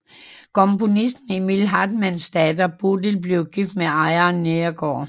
Komponisten Emil Hartmanns datter Bodil blev gift med ejeren Neergaard